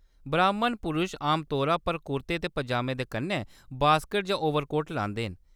ब्राह्‌‌मन पुरश आमतौरा पर कुर्ते ते पजामे दे कन्नै वास्कट जां ओवरकोट लांदे न।